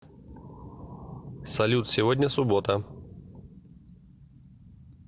салют сегодня суббота